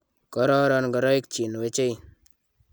kororon ngoroik chin wechei